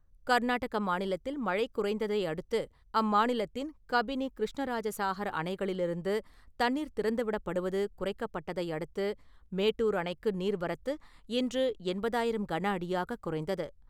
கர்நாட்டக மாநிலத்தில் மழை குறைந்ததை அடுத்து, அம்மாநிலத்தின் கபினி, கிருஷ்ணராஜசாஹர் அணைகளிலிருந்து தண்ணீர் திறந்துவிடப்படுவது குறைக்கப்பட்டதை அடுத்து, மேட்டூர் அணைக்கு நீர்வரத்து இன்று எண்பதாயிரம் கனஅடியாக குறைந்தது.